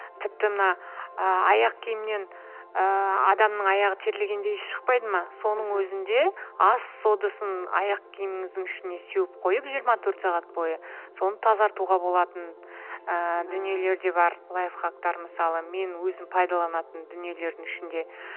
тіпті мына ыыы аяқ киімнен ыыы адамның аяғы терлегенде иісі шықпайды ма соның өзінде ас содасын аяқ киіміздің ішіне сеуіп қойып жиырма төрт сағат бойы соны тазартуға болатын ыыы дүниелер де бар лайфхактар мысалы менің өзім пайдаланатын дүниелердің ішінде